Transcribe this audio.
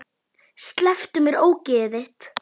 Slepptu mér, ógeðið þitt!